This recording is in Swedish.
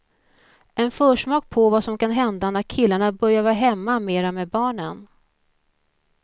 En försmak på vad som kan hända när killarna börjar vara hemma mera med barnen.